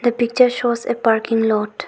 The picture shows a parking lot.